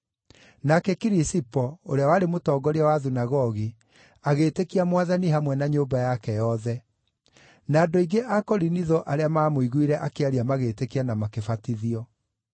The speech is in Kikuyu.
Nake Kirisipo, ũrĩa warĩ mũtongoria wa thunagogi, agĩĩtĩkia Mwathani hamwe na nyũmba yake yothe; na andũ aingĩ a Korinitho arĩa maamũiguire akĩaria magĩĩtĩkia na makĩbatithio.